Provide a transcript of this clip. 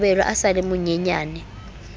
kabelo a sa le monyenyane